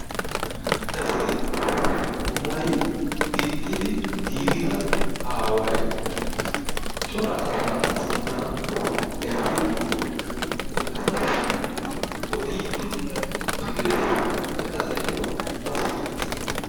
Issi maayi gixxidi giiggida aaway coraa asaa sinttan eqqidi ha asaassi oddiddi dees, he asaykka a siiyidi de'ees.